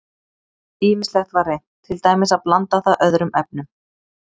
Ýmislegt var reynt, til dæmis að blanda það öðrum efnum.